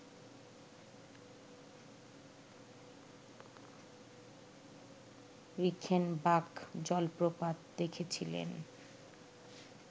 Reichenbach জলপ্রপাত দেখেছিলেন